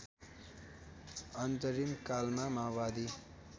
अन्तरिम कालमा माओवादी